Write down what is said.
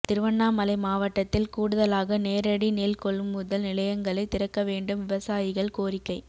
திருவண்ணாமலை மாவட்டத்தில் கூடுதலாக நேரடி நெல் கொள்முதல் நிலையங்களை திறக்க வேண்டும் விவசாயிகள் கோரிக்கை